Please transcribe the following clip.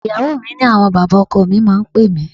Ìyàwó mi ni àwọn bàbá ọkọ mi máa ń pè mí.